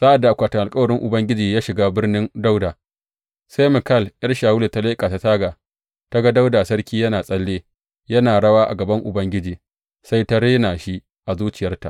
Sa’ad da akwatin alkawarin Ubangiji ya shiga Birnin Dawuda, sai Mikal ’yar Shawulu ta leƙa ta taga ta ga Dawuda sarki yana tsalle, yana rawa a gaban Ubangiji, sai ta rena shi a zuciyarta.